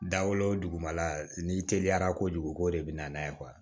Dawolo dugumala n'i teliyara kojugu ko de bin n'a ye